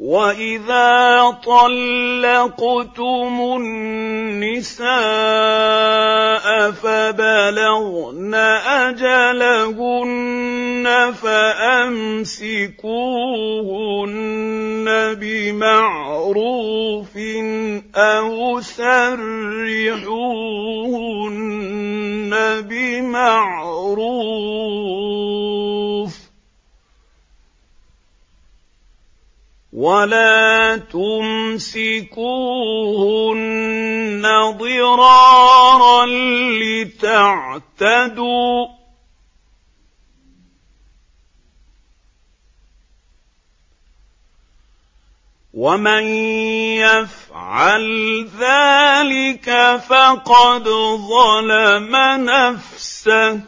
وَإِذَا طَلَّقْتُمُ النِّسَاءَ فَبَلَغْنَ أَجَلَهُنَّ فَأَمْسِكُوهُنَّ بِمَعْرُوفٍ أَوْ سَرِّحُوهُنَّ بِمَعْرُوفٍ ۚ وَلَا تُمْسِكُوهُنَّ ضِرَارًا لِّتَعْتَدُوا ۚ وَمَن يَفْعَلْ ذَٰلِكَ فَقَدْ ظَلَمَ نَفْسَهُ ۚ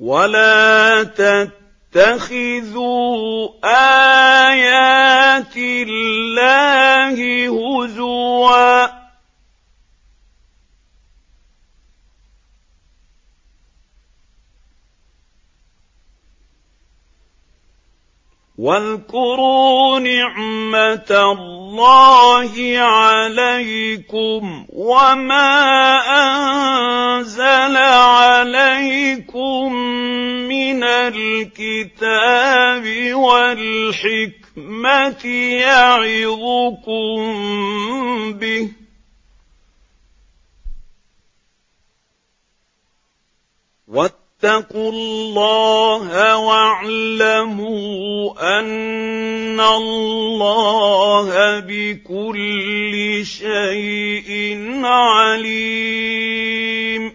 وَلَا تَتَّخِذُوا آيَاتِ اللَّهِ هُزُوًا ۚ وَاذْكُرُوا نِعْمَتَ اللَّهِ عَلَيْكُمْ وَمَا أَنزَلَ عَلَيْكُم مِّنَ الْكِتَابِ وَالْحِكْمَةِ يَعِظُكُم بِهِ ۚ وَاتَّقُوا اللَّهَ وَاعْلَمُوا أَنَّ اللَّهَ بِكُلِّ شَيْءٍ عَلِيمٌ